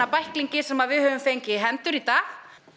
bæklingi sem við höfum fengið í hendur í dag